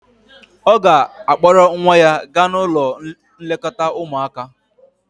ọ ga-akpọrọ nwa ya gaa n'ụlọ nlekọta ụmuaka